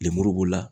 Lemuru b'o la